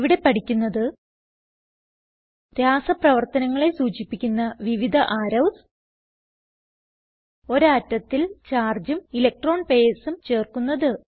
ഇവിടെ പഠിക്കുന്നത് രാസ പ്രവർത്തനങ്ങളെ സൂചിപ്പിക്കുന്ന വിവിധ അറോവ്സ് ഒരു ആറ്റത്തിൽ ചാർജും ഇലക്ട്രോൺ pairsഉം ചേർക്കുന്നത്